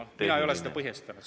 Mina ei ole seda põhjustanud.